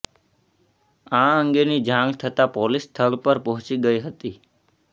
આ અંગેની જાણ થતાં પોલીસ સ્થળ પર પહોચી ગઇ હતી